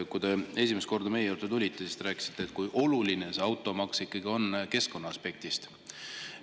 Kui te esimest korda meie juurde tulite, siis te rääkisite, kui oluline see automaks ikkagi on keskkonnaaspektist.